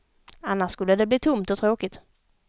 Annars skulle det bli tomt och tråkigt.